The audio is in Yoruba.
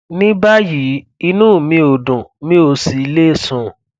ní báyìí inú mi ò dùn mi ò sì le sùn